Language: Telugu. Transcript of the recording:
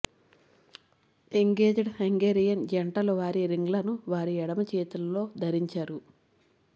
ఎంగేజ్డ్ హంగేరియన్ జంటలు వారి రింగ్లను వారి ఎడమ చేతుల్లో ధరించారు